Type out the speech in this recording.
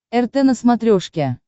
рт на смотрешке